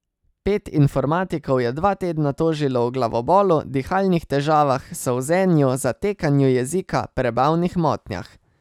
Pet informatikov je dva tedna tožilo o glavobolu, dihalnih težavah, solzenju, zatekanju jezika, prebavnih motnjah.